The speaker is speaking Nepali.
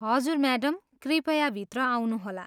हजुर, म्याडम, कृपया भित्र आउनुहोला।